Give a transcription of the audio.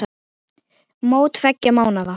Mót tveggja mánaða.